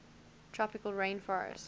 tropical rain forestt